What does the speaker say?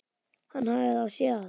Hann hafði þá séð allt!